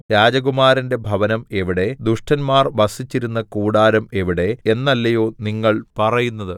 രാജകുമാരന്റെ ഭവനം എവിടെ ദുഷ്ടന്മാർ വസിച്ചിരുന്ന കൂടാരം എവിടെ എന്നല്ലയോ നിങ്ങൾ പറയുന്നത്